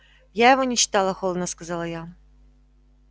я его не читала холодно сказала я